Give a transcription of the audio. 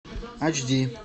ач ди